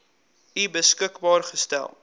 u beskikbaar gestel